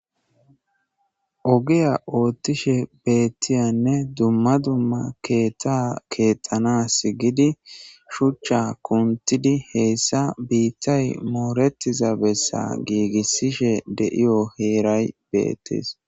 Ogeya oottishe beettiyanne dumma dumma keeta keettana sgidi shuchcha kuntidi heyssa biittay mooretiza bessa giigissishe deiyo heeray beettis